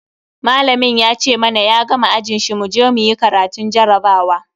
Malamin ya ce mana ya gama ajin shi muje muyi karatun jarabawa.